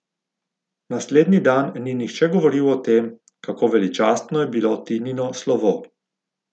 Naslednji dan ni nihče govoril o tem, kako veličastno je bilo Tinino slovo.